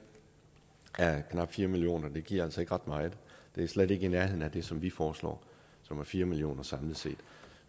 af knap fire million kroner giver altså ikke ret meget det er slet ikke i nærheden af det som vi foreslår som er fire million kroner samlet set